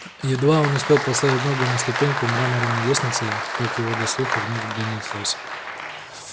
едва он успел поставить ногу на ступеньку мраморной лестницы как его до слуха вновь донеслось